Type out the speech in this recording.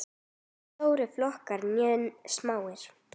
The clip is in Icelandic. Hvorki stórir flokkar né smáir.